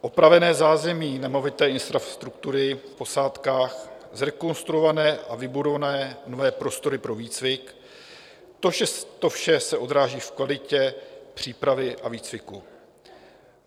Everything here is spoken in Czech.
Opravené zázemí nemovité infrastruktury v posádkách, zrekonstruované a vybudované nové prostory pro výcvik - to vše se odráží v kvalitě přípravy a výcviku.